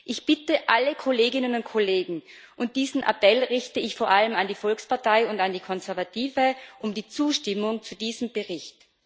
Ich bitte alle Kolleginnen und Kollegen diesen Appell richte ich vor allem an die Volkspartei und an die Konservative um die Zustimmung zu diesem Bericht.